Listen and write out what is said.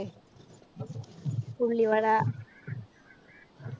ഉള്ളിവട.